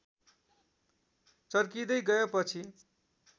चर्किदै गएपछि